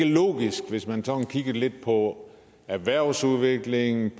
logisk hvis man sådan kigger lidt på erhvervsudviklingen